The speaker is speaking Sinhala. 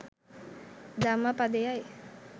ධම්ම පදයයි.